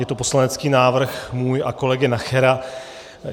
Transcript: Je to poslanecký návrh můj a kolegy Nachera.